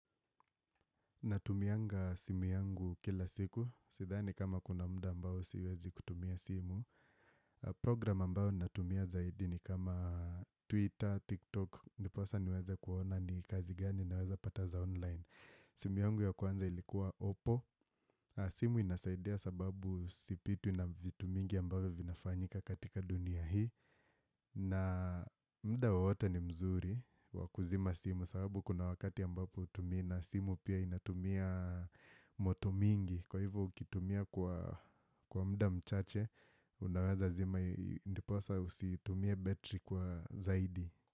Natumianga simu yangu kila siku Sidhani kama kuna muda ambao siwezi kutumia simu Program ambao natumia zaidi ni kama Twitter, TikTok Ndiposa niweze kuona ni kazi gani naweza kupata za online simu yangu ya kwanza ilikuwa oppo simu inasaidia sababu sipitwi na vitu mingi ambavyo vinafanyika katika dunia hii na muda wowote ni mzuri wa kuzima simu Kwa sababu kuna wakati ambapo hutumii na simu pia inatumia moto mingi Kwa hivyo ukitumia kwa muda mchache Unaweza zima ndiposa usitumie betri kwa zaidi.